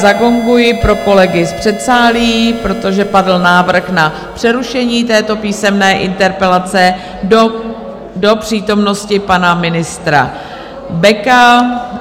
Zagonguji pro kolegy z předsálí, protože padl návrh na přerušení této písemné interpelace do přítomnosti pana ministra Beka.